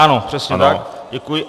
Ano, přesně tak, děkuji.